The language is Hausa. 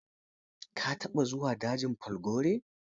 Ka taɓa zuwa dajin falgore?